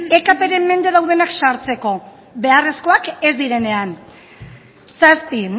ekp ren mende daudenak sartzeko beharrezkoak ez direnean zazpi